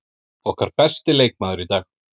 Okkar besti leikmaður í dag.